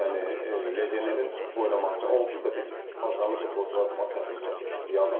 Yəni legionerin oynaması onsuz da biz azərbaycanlı futbolçunu oynatmaq çətinlik çəkirdik.